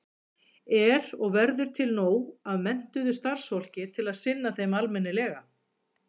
Er og verður til nóg af menntuðu starfsfólki til að sinna þeim almennilega?